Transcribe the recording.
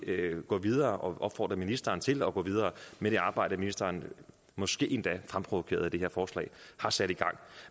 gå videre og opfordre ministeren til at gå videre med det arbejde ministeren måske endda fremprovokeret af det her forslag har sat i gang